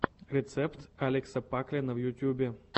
рецепт алекса паклина в ютьюбе